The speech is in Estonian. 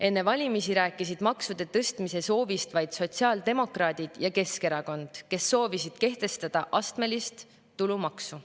Enne valimisi rääkisid maksude tõstmise soovist vaid sotsiaaldemokraadid ja Keskerakond, kes soovisid kehtestada astmelist tulumaksu.